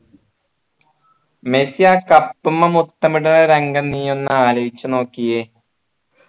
Messi ആ cup മ്മ മുത്തം ഇടുന്ന രംഗം നീ ഒന്ന് ആലോചിച്ചു നോക്കിയേ